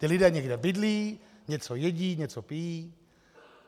Ti lidé někde bydlí, něco jedí, něco pijí...